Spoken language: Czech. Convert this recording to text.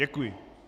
Děkuji.